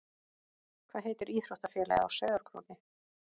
Hvað heitir íþróttafélagið á Sauðárkróki?